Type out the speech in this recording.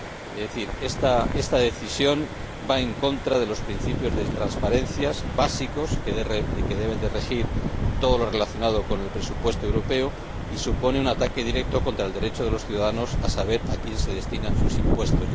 Es decir, esta decisión va en contra de los principios de transparencia, básicos, que deben regir todo lo relacionado con el presupuesto europeo y supone un ataque directo contra el derecho de los ciudadanos a saber a quién se destinan sus impuestos.